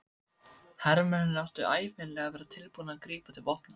Hermennirnir áttu ævinlega að vera tilbúnir að grípa til vopna.